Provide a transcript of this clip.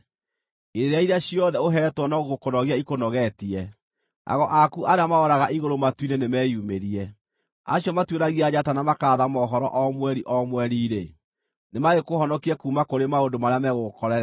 Irĩra iria ciothe ũheetwo no gũkũnogia ikũnogetie! Ago aku arĩa maroraga igũrũ matu-inĩ nĩmeyumĩrie, acio matuĩragia njata na makaratha mohoro o mweri, o mweri-rĩ, nĩmagĩkũhonokie kuuma kũrĩ maũndũ marĩa megũgũkorerera.